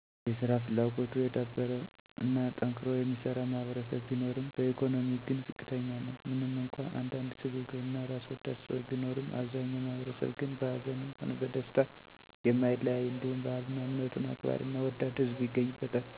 የሰራ ፍላጎቱ የዳበረ እና ጠንክሮ የሚሰራ ማህበረሰብ ቢኖርም በኢኮኖሚ ግን ዝቅተኛ ነው። ምንም እንኳ አንዳንድ ስግብግብ እና ራስወዳድ ሰዎች ቢኖሩም አብዛኛው ማህበረሰብ ግን በሀዘንም ሆነ በደስታ የማይለያይ እንዲሁም ባህልና እምነቱን አክባሪና ወዳድ ህዝብ ይገኝበታል